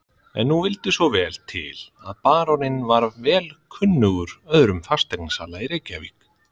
En nú vildi svo vel til að baróninn var vel kunnugur öðrum fasteignasala í Reykjavík.